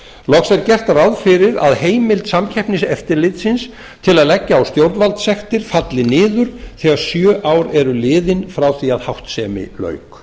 loks er gert ráð fyrir að heimild samkeppniseftirlitsins til að leggja á stjórnvaldssektir falli niður þegar sjö ár eru liðin frá því að háttsemi lauk